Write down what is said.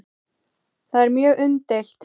Það er mjög umdeilt.